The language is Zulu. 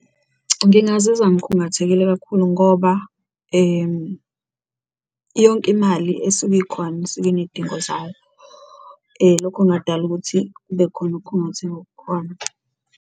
Ngingazizwa ngikhungathekile kakhulu ngoba yonke imali esuke ikhona isuke iney'dingo zayo, lokho kungadala ukuthi kube khona ukhungatheka okukhona.